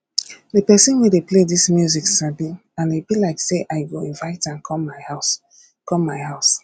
the person wey dey play dis music sabi and e be like say i go invite am come my house come my house